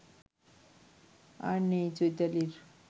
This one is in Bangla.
আর নেই চৈতালির